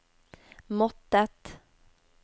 måttet